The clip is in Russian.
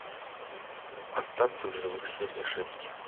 остаться в живых серия шесть